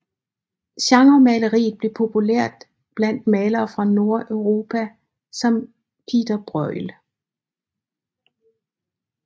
Genremaleriet blev populært blandt malere fra Nordeuropa som Pieter Bruegel